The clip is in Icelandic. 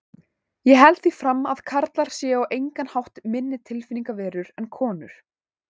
Ég held því fram að karlar séu á engan hátt minni tilfinningaverur en konur.